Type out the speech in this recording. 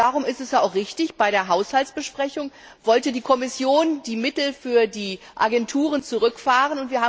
Aber darum war unser Vorgehen ja auch richtig Bei der Haushaltsbesprechung wollte die Kommission die Mittel für die Agenturen zurückfahren.